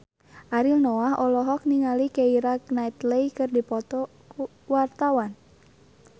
Ariel Noah olohok ningali Keira Knightley keur diwawancara